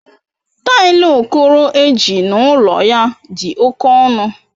Tailu okoro eji n'ulo ya di oke onu.